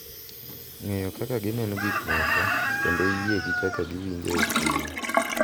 Ng’eyo kaka gineno gik moko kendo yie gi kaka giwinjo e chunygi.